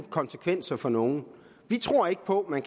konsekvenser for nogen vi tror ikke på at man